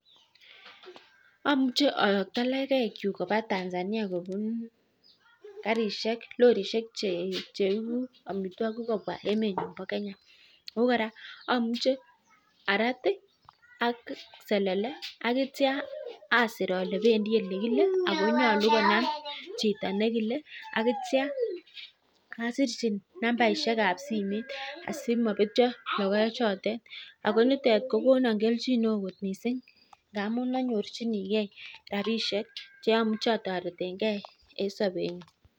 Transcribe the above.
Amuche ayakta logoek chuk Koba Tanzania kobunkarishek lorishek cheibu amitwagik Koba emenyon ba Kenya ako koraa amuche arat ak selele akitya Asir Kole bendi olekile akonyalu konai Chito nekile akitya Asir hi nambarishek ab simoit asimabetyo logoek chotet akonitet kokonon keljin neon kot missing ngamun anyorchinigei rabishek cheimuche ataretengei en sabenyun